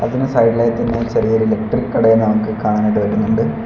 ഇതിൻ്റെ സൈഡ് ഇലായി തന്നെ ചെറിയൊരു കടയും നമുക്ക് കാണാൻ കഴിയുന്നുണ്ട്.